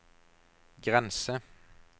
grense